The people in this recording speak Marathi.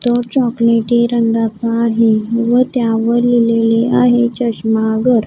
तो चॉकलेटी रंगाचा आहे व त्यावर लिहिलेले आहे चष्मा घर.